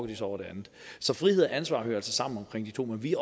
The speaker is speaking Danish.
de sig over det andet så frihed og ansvar hører altså sammen omkring de to men vi